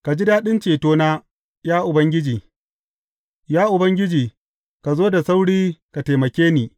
Ka ji daɗin cetona, ya Ubangiji; Ya Ubangiji, ka zo da sauri ka taimake ni.